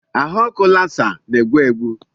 Ahụ ọkụ Lassa na-egbu egbu.